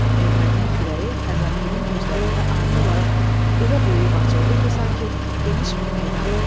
Ermənin kürəyi Xəzangülün gözlərində ani olaraq elə böyüyüb açıldı ki, sanki geniş bir meydandır.